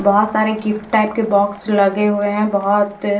बोहोत सारे gift type के बॉक्स लगे हुए है बोहोत --